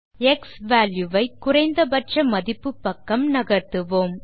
x value y குறைந்த பட்ச மதிப்பு பக்கம் நகர்த்துவோம்